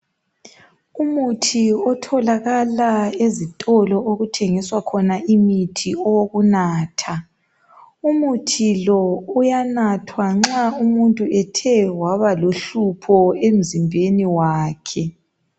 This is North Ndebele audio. Umuthi otholakala ezitolo okuthengiswa khona imithi owokunatha, umuthi lo uyanathwa nxa umuntu ethe waba lohlupho emzimbeni wakhe.